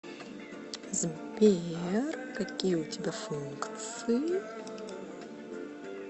сбер какие у тебя функции